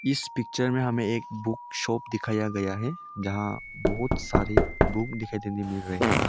इस पिक्चर में हमें एक बुक शॉप दिखाया गया है जहां बहोत सारी बुक दिखाई देती मिल रही है।